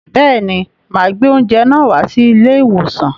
Bẹẹ̀ ni, mà gbé oúnjẹ náà wá sí ilé-ìwòsàn.